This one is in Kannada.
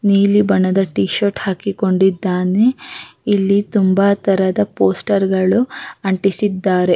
ನೀಲಿ ಬಣ್ಣದ ಟಿ ಶರ್ಟ್ ಹಾಕಿ ಕೊಂಡಿದ್ದಾನೆ ಇಲ್ಲಿ ತುಂಬಾ ತರದ ಪೋಸ್ಟರ್ ಗಳು ಅಂಟಿಸಿದ್ದಾರೆ --